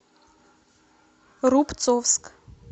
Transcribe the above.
рубцовск